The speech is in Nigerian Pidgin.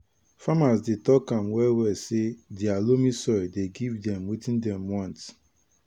farmers dey talk am well well say dia loamy soil dey give dem watin dem want